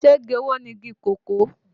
Ṣé igi owó ni igi kòkó?